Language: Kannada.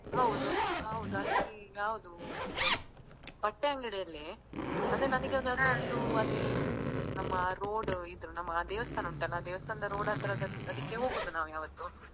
ಹೌದು ಹೌದು ಅಲ್ಲಿ ಯಾವ್ದು ಅಂದ್ರೆ ಬಟ್ಟೆ ಅಗಂಡಿಯಲ್ಲೇ ಅಂದ್ರೆ ನನಿಗೊಂದು ಅಲ್ಲಿ ನಮ್ಮ road ಇದ್ರೂ ನಮ್ಮ ದೇವಸ್ಥಾನ ಉಂಟಲ್ಲ ದೇವಸ್ಥಾನದ road ಹತ್ರದ ಅದಿಕ್ಕೆ ಹೋಗುದು ನಾವ್ ಯಾವತ್ತು.